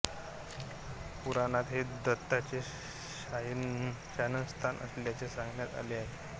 पुराणात हे दत्ताचें शयनस्थान असल्याचे सांगण्यात आले आहे